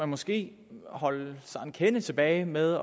måske holde sig en kende tilbage med